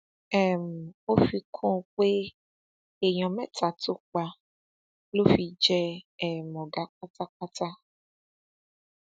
um ó fi kún un pé èèyàn mẹta tó pa ló fi jẹ um ọgá pátápátá